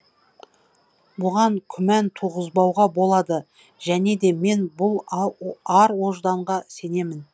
бұған күмән туғызбауға болады және де мен бұл ар ожданға сенемін